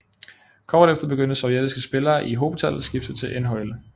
Kort efter begyndte sovjetiske spillere i hobetal at skifte til NHL